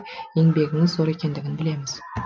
еңбегіңіз зор екендігін білеміз